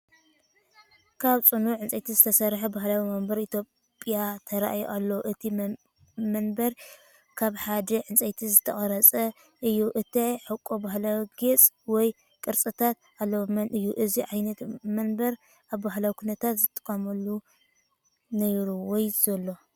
ካብ ጽኑዕ ዕንጨይቲ ዝተሰርሐ ባህላዊ መንበር ኢትዮጵያ ተራእዩ ኣሎ። እቲ መንበር ካብ ሓደ ዕንጨይቲ ዝተቐርጸ እዩ። እቲ ሕቖ ባህላዊ ጌጽ ወይ ቅርጽታት ኣለዎ፤ መን እዩ ነዚ ዓይነት መንበር ኣብ ባህላዊ ኵነታት ዝጥቀመሉ ነይሩ ወይ ዘሎ?